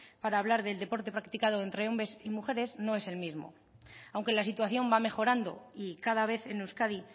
para hablar del deporte practicado entre hombres y mujeres no es el mismo aunque la situación va mejorando y cada vez en euskadi